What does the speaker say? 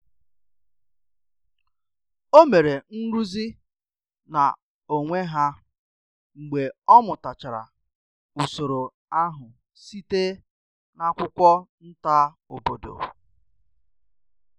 O mere nrụzi na onwe ha mgbe ọ mụtachara usoro ahụ site na akwụkwọ nta obodo